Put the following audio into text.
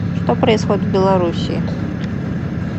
что происходит в белоруссии